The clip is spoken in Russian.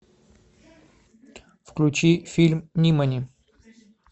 включи фильм нимани